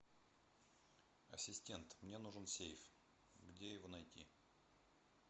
ассистент мне нужен сейф где его найти